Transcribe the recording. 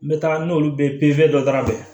N bɛ taa n'olu bɛ dɔ da la dɛ